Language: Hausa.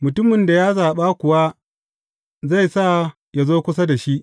Mutumin da ya zaɓa kuwa zai sa yă zo kusa da shi.